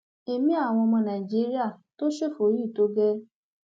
èmi àwọn ọmọ nàìjíríà tó ṣófo yìí tó gẹẹ